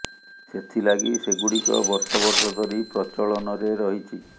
ସେଥି ଲାଗି ସେଗୁଡ଼ିକ ବର୍ଷ ବର୍ଷ ଧରି ପ୍ରଚଳନରେ ରହିଛି